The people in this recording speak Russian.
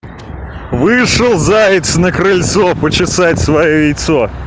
вышел заяц на крыльцо почесать своё яйцо